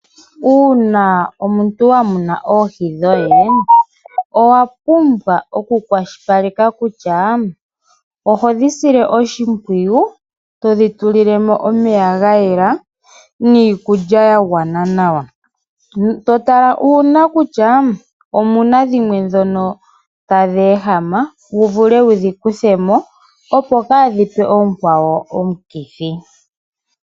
Uuna omuntu wa muna oohi dhoye owa pumbwa okukwashilipaleka kutya oho dhi sile oshimpwiyu to dhi tulilemo omeya ga yela niikulya ya gwana nawa to tala uuna kutya omuna dhimwe dhono tadhi ehama wu vulecwu dhi kuthe mo opo kaadhipe oonkwawo omukithi.